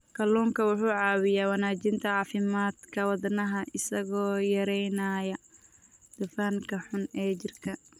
Kalluunku wuxuu caawiyaa wanaajinta caafimaadka wadnaha isagoo yareynaya dufanka xun ee jirka.